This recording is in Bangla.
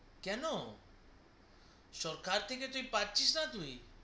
কেন সরকার থেকে তুই পাচ্ছিস না তুই